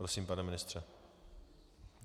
Prosím, pane ministře.